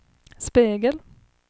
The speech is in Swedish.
spegel